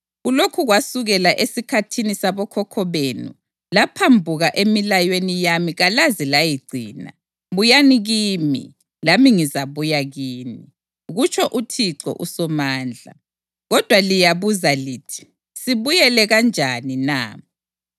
Kulokhu kwasukela esikhathini sabokhokho benu laphambuka emilayweni yami kalaze layigcina. Buyani kimi, lami ngizabuya kini,” kutsho uThixo uSomandla. “Kodwa liyabuza lithi, ‘Sibuyele kanjani na?’